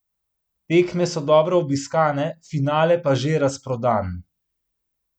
Tekme so dobro obiskane, finale pa že razprodan.